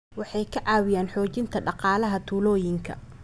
Waxay ka caawiyaan xoojinta dhaqaalaha tuulooyinka.